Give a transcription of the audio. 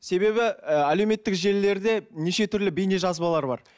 себебі ы әлеуметтік желілерде неше түрлі бейнежазбалар бар